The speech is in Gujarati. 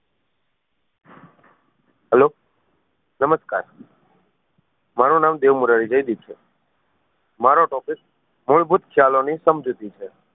hello નમસ્કાર મારુ નામ દેવમોરારી જયદીપ છે મારો topic મૂળભૂત ખ્યાલો ની સમજૂતી છે